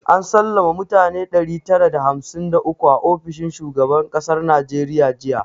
An sallama mutane ɗari tara da hamsin da uku a ofishin shugaban kasar najeriya jiya